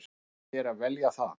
Við leyfum þér að velja það.